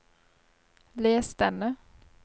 les denne